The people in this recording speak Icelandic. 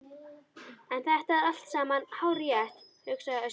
En þetta er allt saman hárrétt, hugsaði Össur.